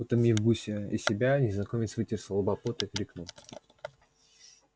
утомив гуся и себя незнакомец вытер со лба пот и крикнул